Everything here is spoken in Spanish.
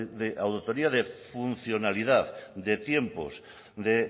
de auditoría de funcionalidad de tiempos de